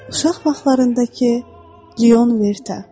Uşaq vaxtlarındakı Lion Vertə.